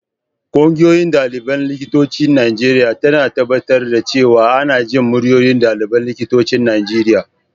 Ƙungiyar ɗaliban likitocin Najeriya tana tabbatar da cewa ana jin muryoyin ɗaliban likitocin Najeriya.